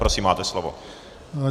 Prosím, máte slovo.